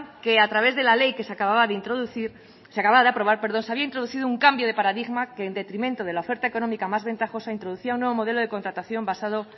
que a través de la ley que se acababa de aprobar se había introducido un cambio de paradigma que en detrimento de la oferta económica más ventajosa introducía un nuevo modelo de contratación basado